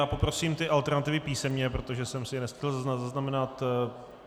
A poprosím ty alternativy písemně, protože jsem si je nestihl zaznamenat.